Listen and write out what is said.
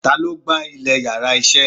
Ta lo gba ilè íyarà iṣẹ?